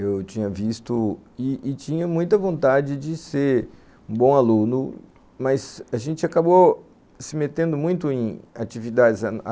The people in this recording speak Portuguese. Eu tinha visto e e tinha muita vontade de ser um bom aluno, mas a gente acabou se metendo muito em atividades.